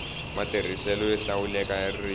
matirhiselo yo hlawuleka ya ririmi